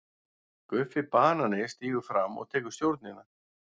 GUFFI BANANI stígur fram og tekur stjórnina.